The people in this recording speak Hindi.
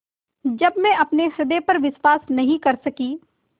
जब मैं अपने हृदय पर विश्वास नहीं कर सकी